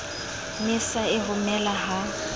ne sa e romele ha